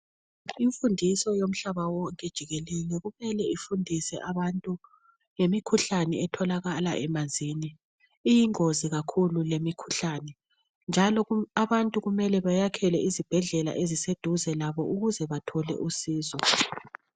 Imfundiso yomhlaba wonke jikelele kumele ifundise abantu ngemikhuhlane etholakala emanzini. Iyingozi kakhulu lemikhuhlane njalo abantu kumele bayakhele izibhedlela eziseduze labo ukuze bathole usizo.